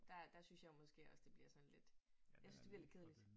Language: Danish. Der der synes jeg jo måske også det bliver sådan lidt jeg synes det bliver lidt kedeligt